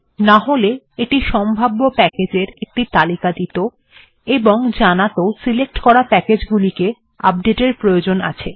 নাহলে এটি সম্ভাব্য প্যাকেজ্ এর একটি তালিকা দিত এবং জানাত সিলেক্ট করা প্যাকেজ্ গুলির আপডেট্ এর প্রয়োজন আছে